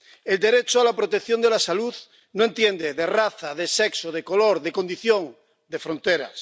El derecho a la protección de la salud no entiende de raza, de sexo, de color, de condición, de fronteras.